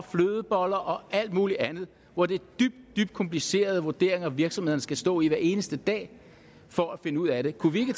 flødeboller og alt muligt andet hvor det er dybt dybt komplicerede vurderinger virksomhederne skal stå med hver eneste dag for at finde ud af det kunne vi ikke